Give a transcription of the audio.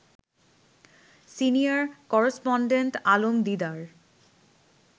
senior correspondent Alam Didar